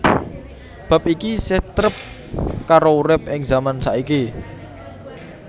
Bab iki isih trep karo urip ing zaman saiki